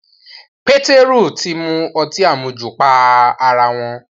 Pétérù ti mu ọtí àmujù pa ará wọn